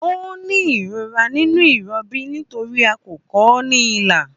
Ó ní ìrora nínú ìrọbí nítorí a kọ ọ́ ní ilà